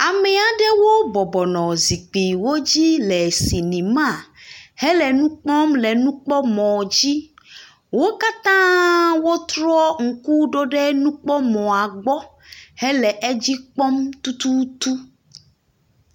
Ame aɖewo bɔbɔ nɔ zikpuiwo dzi le sinima hele nukpɔm le nukpɔmɔ dzi. Wo katã wotrɔ ŋku ɖo ɖe ɖe nupkɔmɔa gbɔ hele edzi kpɔm tututu.